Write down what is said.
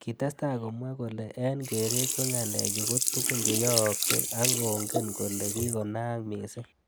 Kitestai komwa kole eng keret ko ngalechu ko tukun cheyooksei ak kongen. kole kikonaak missing.